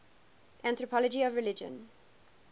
anthropology of religion